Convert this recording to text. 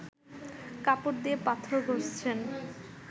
কাপড় দিয়ে পাথর ঘষছেন